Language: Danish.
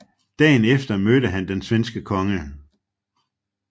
Dagen efter mødte han den svenske konge